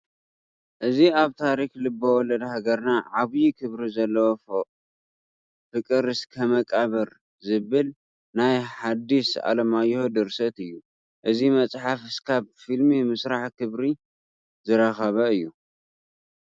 እዚ ኣብ ታሪክ ልበወለድ ሃገርና ዓብዪ ክብሪ ዘለዎ ፍቅር እስከ መቃብር ዝብል ናይ ሀዲስ ኣለማዮህ ድርሰት እዩ፡፡ እዚ መፅሓፍ እስካብ ፊልሚ ምስራሕ ክብሪ ዝረኸበ እዩ፡፡